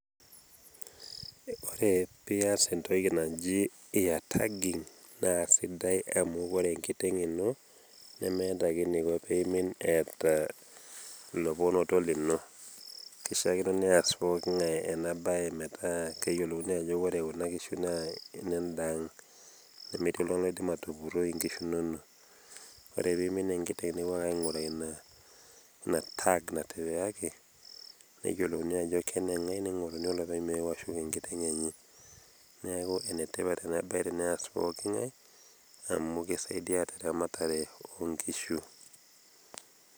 ore pee ias entoki naji ear taggingvnaa sidai amu ore enkiteng ino nemeeta ake eniko pee eimin eeta iloponoto lino. kishaakino neas pookngae ena bae metaa keyiolouni ajo ore kuna kishu naa ine daang'.nemetii oltungani oidim atupuroi inkishu inono. ore ake pee eimin enkiteng nipopuo ake ainguraa ina tag natipikaki, neyiolouni ajo keneye nipotokini olopeny meeu ashuk enkiteng enye. neeku ene tipat ena bae tenees pookingae. amu kisaidia terematare oonkishu.